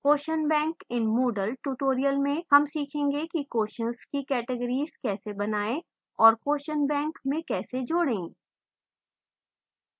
question bank in moodle tutorial में हम सीखेंगे कि questions की categories कैसे बनाएं और question bank में कैसे जोड़ें